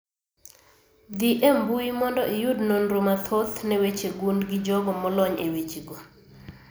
. Dhi e mbui mondo iyud nonro mathoth ne weche gund gi jogo molony e weche go